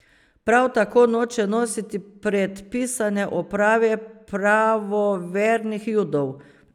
Prav tako noče nositi predpisane oprave pravovernih Judov.